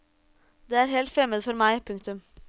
Det er helt fremmed for meg. punktum